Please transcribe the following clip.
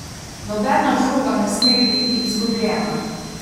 Nobena žoga ne sme biti izgubljena.